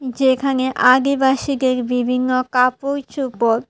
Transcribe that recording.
যেখানে আদিবাসীদের বিভিন্ন কাপুড় চুপর।